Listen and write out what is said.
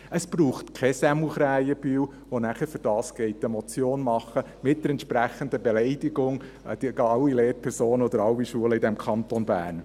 Es braucht keinen Sämu Krähenbühl, der dafür eine Motion macht mit der entsprechenden Beleidigung aller Lehrpersonen oder aller Schulen im Kanton Bern.